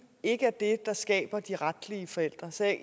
ikke er det der skaber de retlige forældre så jeg